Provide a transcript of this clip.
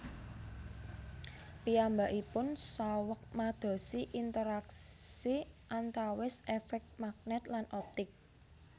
Piyambakipun saweg madosi interaksi antawis efek magnet lan optik